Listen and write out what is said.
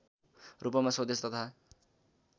रूपमा स्वदेश तथा